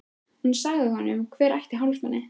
Hún sagði honum hver ætti hálsmenið.